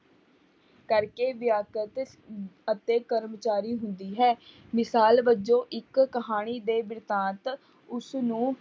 ਕਰਕੇ ਅਤੇ ਅਤੇ ਕਰਮਚਾਰੀ ਹੁੰਦੀ ਹੈ, ਮਿਸਾਲ ਵਜੋਂ ਇੱਕ ਕਹਾਣੀ ਦੇ ਬਿਰਤਾਂਤ ਉਸਨੂੰ